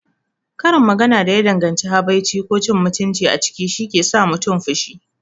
Karin magana da ya danganci habaici ko cin mutunci a ciki shike sa mutum fushi.